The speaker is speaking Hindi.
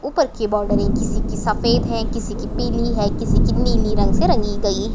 ऊपर के बाउंड्री किसी की सफेद है किसी की पीली है किसी की नीले रंग से रंगी गयी--